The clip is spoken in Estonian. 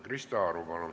Krista Aru, palun!